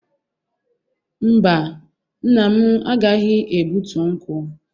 Mba, nna m agaghi egbutu nkwu.